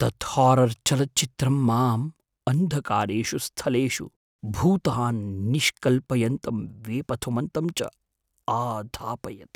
तत् हारर् चलच्चित्रं माम् अन्धकारेषु स्थलेषु भूतान् निष्कल्पयन्तं वेपथुमन्तं च आधापयत्।